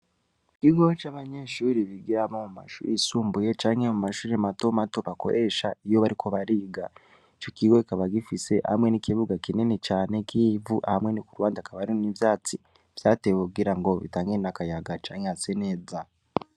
Ikigo c'abanyenshuri bigira abo mu mashuri isumbuye canke mu mashuri mato mato bakoresha iyo bariko bariga co kigo kaba gifise hamwe n'ikibuga kinene cane kivu hamwe ni ku rwanda akabarin'ivyatsi vyatewe ukugira ngo bitangene agayaga canke hase neza.